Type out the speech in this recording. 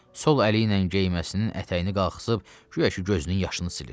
Sol əli ilə geyməsinin ətəyini qalxızıb, guya ki, gözünün yaşını silir.